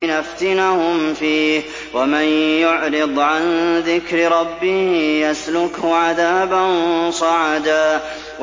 لِّنَفْتِنَهُمْ فِيهِ ۚ وَمَن يُعْرِضْ عَن ذِكْرِ رَبِّهِ يَسْلُكْهُ عَذَابًا صَعَدًا